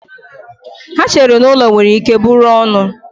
Ha chere na ụlọ nwere ike bụrụ ọnụ.